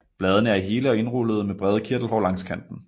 Bladene er hele og indrullede med brede kirtelhår langs kanten